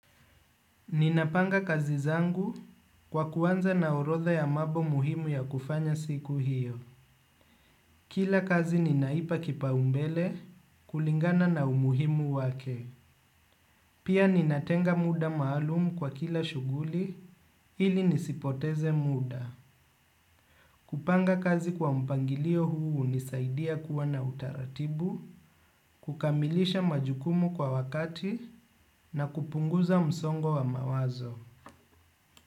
Ninapanga kazi zangu kwa kuwanza na orodha ya mambo muhimu ya kufanya siku hiyo. Kila kazi ninaipa kipaumbele kulingana na umuhimu wake. Pia ninatenga muda maalumu kwa kila shughuli ili nisipoteze muda. Kupanga kazi kwa mpangilio huu hunisaidia kuwa na utaratibu, kukamilisha majukumu kwa wakati na kupunguza msongo wa mawazo.